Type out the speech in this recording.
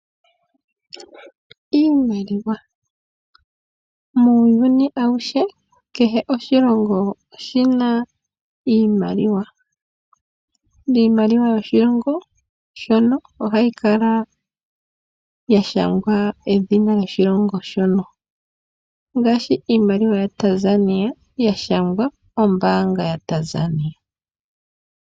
Iimaliwa Muuyuni auhe kehe oshilongo oshi na iimaliwa. Iimaliwa yoshilongo shono ohayi kala ya shangwa edhina lyoshilongo shono, ngaashi iimaliwa yaTanzania ya shangwa ombaanga yaTanzania.